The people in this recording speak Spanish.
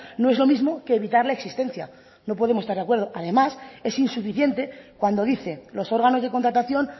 no es lo mismo que evitar la existencia no podemos estar de acuerdo además es insuficiente cuando dice los órganos de contratación